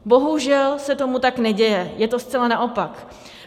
Bohužel se tomu tak neděje, je to zcela naopak.